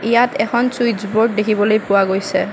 ইয়াত এখন switch board দেখিবলৈ পোৱা গৈছে।